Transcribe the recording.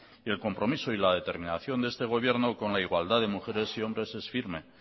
y el compromiso y la determinación de este gobierno con la igualdad de mujeres y hombres es firme